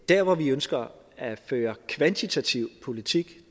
der hvor vi ønsker at føre kvantitativ politik